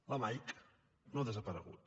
la mike no ha desaparegut